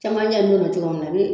Camancɛ in donna cogo min na a bi